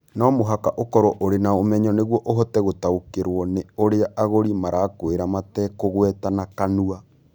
No mũhaka ũkorũo ũrĩ na ũmenyo nĩguo ũhote gũtaũkĩrũo nĩ ũrĩa agũri marakwĩra matekũgweta na kanua.